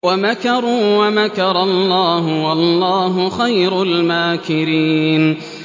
وَمَكَرُوا وَمَكَرَ اللَّهُ ۖ وَاللَّهُ خَيْرُ الْمَاكِرِينَ